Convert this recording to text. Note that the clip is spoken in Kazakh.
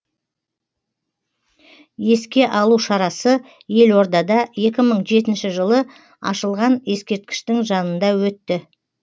еске алу шарасы елордада екі мың жетінші жылы ашылған ескеркіштің жанында өтті